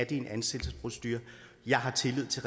i en ansættelsesprocedure jeg har tillid til